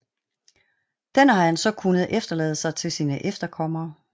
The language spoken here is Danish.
Den har han så kunnet efterlade sig til sine efterkommere